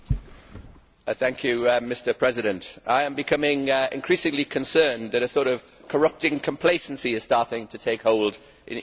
Mr President, I am becoming increasingly concerned that a sort of corrupting complacency is starting to take hold in EU corridors of power.